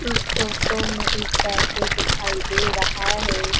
उस फोटो में एक कैफे दिखाई दे रहा है।